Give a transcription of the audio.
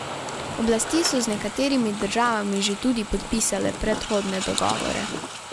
Oblasti so z nekaterimi državami že tudi podpisale predhodne dogovore.